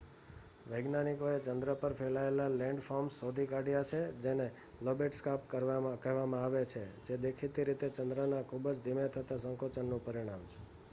વૈજ્ઞાનિકોએ ચંદ્ર પર ફેલાયેલ લેન્ડફોર્મ્સ શોધી કાઢ્યા છે જેને લોબેટ સ્કાર્પ કહેવામાં આવે છે જે દેખીતી રીતે ચંદ્રના ખુબ જ ધીમે થતા સંકોચનનું પરિણામ